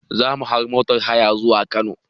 Zamu hau motar haya zuwa Kano